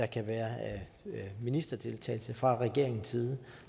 kan være ministerdeltagelse fra regeringens side